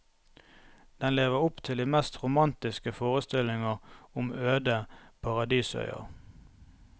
Den lever opp til de mest romantiske forestillinger om øde paradisøyer.